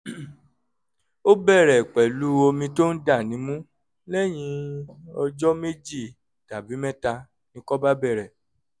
ó bẹ̀rẹ̀ pẹ̀lú omi tó ń dà nímú lẹ́yìn ọjọ́ méjì tàbí mẹ́ta ni ikọ́ bẹ̀rẹ̀